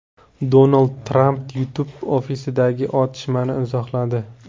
Donald Tramp YouTube ofisidagi otishmani izohladi.